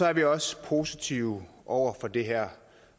er vi også positive over for det her